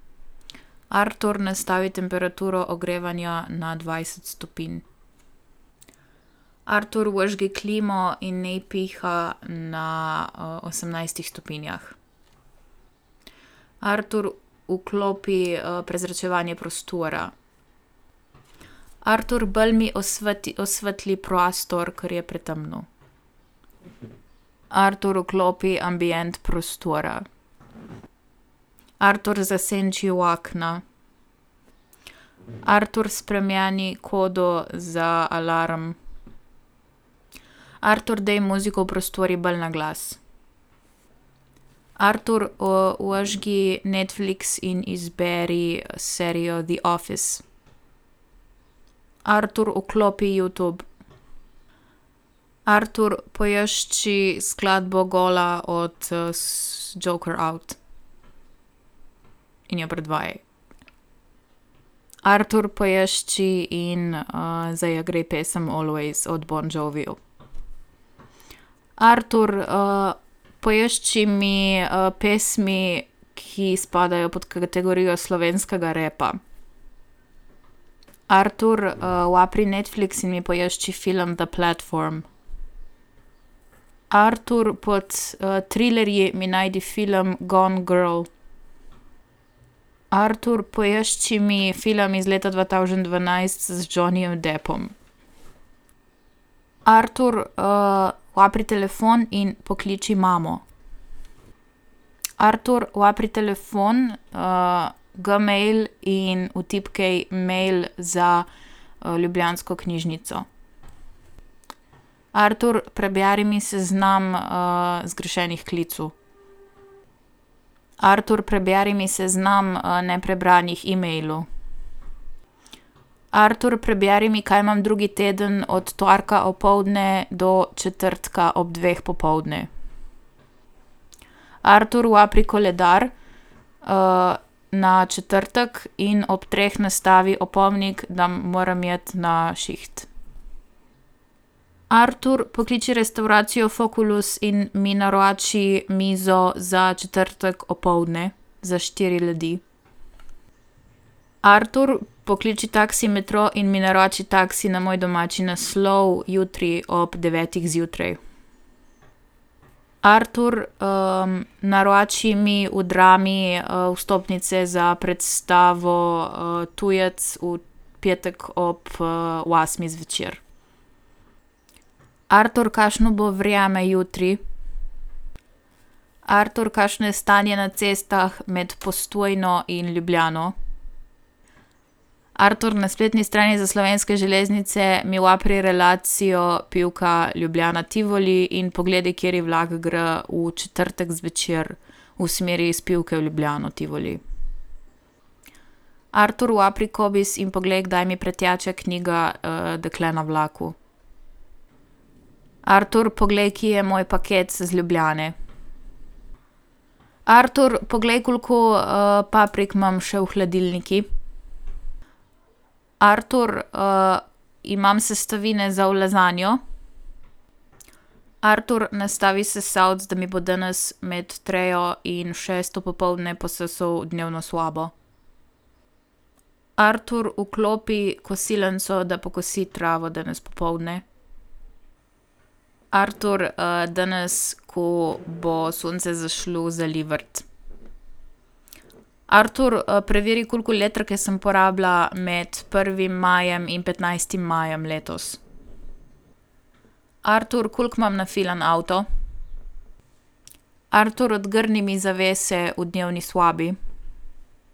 Artur, nastavi temperaturo ogrevanja na dvajset stopinj. Artur, vžgi klimo in naj piha na, osemnajstih stopinjah. Artur, vklopi, prezračevanje prostora. Artur, bolj mi osvetli prostor, ker je pretemno. Artur, vklopi ambient prostora. Artur, zasenči okna. Artur, spremeni kodo za alarm. Artur, daj muziko v prostoru bolj naglas. Artur, vžgi Netflix in izberi serijo The Office. Artur, vklopi Youtube. Artur, poišči skladbo Gola od, Joker Out in jo predvajaj. Artur, poišči in, zaigraj pesem Always od Bon Jovija. Artur, poišči mi, pesmi, ki spadajo pod kategorijo slovenskega rapa. Artur, odpri Netflix in mi poišči film The Platform. Artur, pod, trilerji mi najdi film Gone Girl. Artur, poišči mi film iz leta dva tavžent dvanajst z Johnyjem Deppom. Artur, odpri telefon in pokliči mamo. Artur, odpri telefon, Gmail, in vtipkaj mail za, ljubljansko knjižnico. Artur, preberi mi seznam, zgrešenih klicev. Artur, preberi mi seznam, neprebranih emailov. Artur, preberi mi, kaj mam drugi teden od torka opoldne do četrtka ob dveh popoldne. Artur, odpri koledar, na četrtek in ob treh nastavi opomnik, da moram iti na šiht. Artur, pokliči restavracijo Foculus in mi naroči mizo za četrtek opoldne za štiri ljudi. Artur, pokliči taksi Metro in mi naroči taksi na moj domači naslov jutri ob devetih zjutraj. Artur, naroči mi v Drami, vstopnice za predstavo, Tujec v petek ob, osmih zvečer. Artur, kašno bo vreme jutri? Artur, kakšno je stanje na cestah med Postojno in Ljubljano. Artur, na spletni strani za Slovenske železnice mi odpri relacijo Pivka-Ljubljana Tivoli in poglej, kateri vlak gre v četrtek zvečer v smeri iz Pivke v Ljubljano Tivoli. Artur, odpri Cobiss in poglej, kdaj mi preteče knjiga, Dekle na vlaku. Artur, poglej, kje je moj paket iz Ljubljane. Artur, poglej, koliko, paprik imam še v hladilniku. Artur, imam sestavine za v lazanjo? Artur, nastavi sesalec, da mi bo danes med trejo in šesto popoldne posesal dnevno sobo. Artur, vklopi kosilnico, da pokosi travo danes popoldne. Artur, danes, ko bo sonce zašlo, zalij vrt. Artur, preveri, koliko elektrike sem porabila med prvim majem in petnajstim majem letos. Artur, koliko imam nafilan avto? Artur, odgrni mi zavese v dnevni sobi.